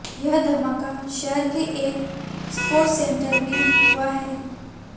ये धमाका शहर के एक स्पोर्ट्स सेंटर में हुआ है